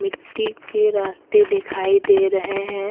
मिट्टी के रास्ते दिखाई दे रहे है।